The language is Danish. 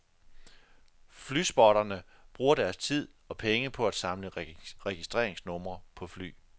Flyspotterne bruger deres tid og penge på at samle registringsnumre på fly.